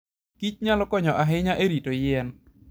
kich nyalo konyo ahinya e rito yien.